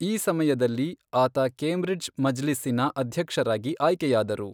ಈ ಸಮಯದಲ್ಲಿ, ಆತ ಕೇಂಬ್ರಿಡ್ಜ್ ಮಜ್ಲಿಸ್ಸಿನ ಅಧ್ಯಕ್ಷರಾಗಿ ಆಯ್ಕೆಯಾದರು.